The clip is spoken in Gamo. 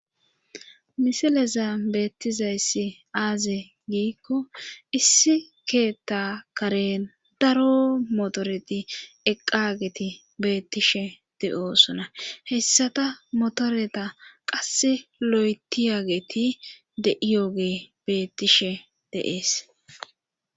misileza beettizayssi aaze giikko issi keetta karen daro motoreti eqqageti beettishe de7osona hessata motoreta qasse lo7etiyageti de7iyoge beettishe deees